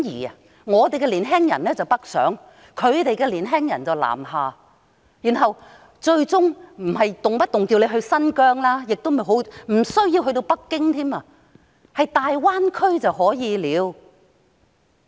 她呼籲香港的年輕人北上，希望內地的年輕人南下，但香港的年輕人無需前往新疆或北京，只是前往大灣區便可以了。